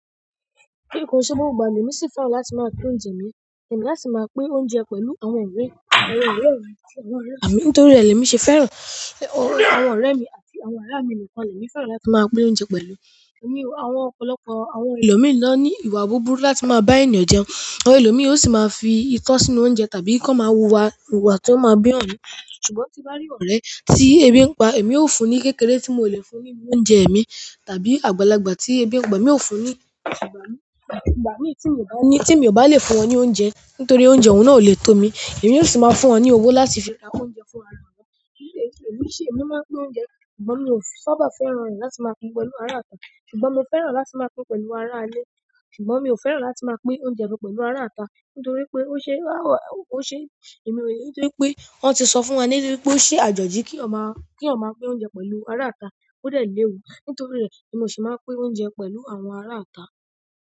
Kí nǹkan ṣe gbogbo ìgbà mi ò sí fẹ́ràn láti máa pín oúnjẹ mi, èmi a si máa pín oúnjẹ pẹ̀lú àwọn ọ̀rẹ́, àwọn ọ̀rẹ́ rẹ̀ àti àwọn ọ̀rẹ́ mi nítorí rẹ̀ lè mi o ṣe fẹ́ràn àwọn ọ̀rẹ́ mi àti àwọn àrà mi nìkan lè mi fẹ́ràn láti máa pín oúnjẹ pẹ̀lú. Ẹ̀mi àwọn ọ̀pọ̀lọpọ̀ àwọn ẹlòmíràn ní ìwà búburú láti máa bá ènìyàn jẹun, àwọn ẹlòmíràn yóò sì máa fi itọ́ sínú oúnjẹ tàbí kí wọ́n máa wuwà ìwà tí ó máa bí eyan nu, ṣùgbọ́n tí mo bá rí ọ̀rẹ́ tí ebi ń pa, èmi ó fún un ní kékeré tí mò lè fún un ní oúnjẹ mi tàbí àgbàlagbà tí ebi ń pa mi ò fún un ní ìgbà mí tí mi ò bá le fún wọn ní oúnjẹ nítorí oúnjẹ oun náà ò le tó mi, èmi yóò sì máa fún wọn ní owó láti fi ra oúnjẹ fún ara wọn. Kí nǹkan ṣe èmi máa ń pín oúnjẹ ṣùgbọ́n mi ò sábà fẹ́ràn rẹ̀ láti máa pín pẹ̀lú ará ita ṣùgbọ́n mo fẹ́ràn láti máa pín pẹ̀lú ará ilé ṣùgbọ́n mi ò fẹ́ràn láti máa pín oúnjẹ mi pẹ̀lú ará ita nítorí pé ó ṣe èmi rẹ̀ nítorí pé wọ́n ti sọ fún wa níbí wípé ó ṣe àjọ̀jí kí eyan máa pín oúnjẹ pẹ̀lú ará ita ó dẹ̀ léwu nítorí rẹ̀ ni mi ò sì máa pín oúnjẹ pẹ̀lú àwọn ará ita.